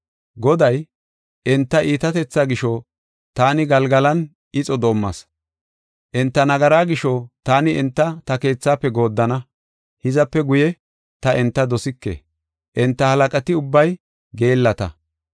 Goday, “Enta iitatetha gisho taani Galgalan ixo doomas. Enta nagaraa gisho taani enta ta keethaafe gooddana; hizape guye ta enta dosike; enta halaqati ubbay geellata.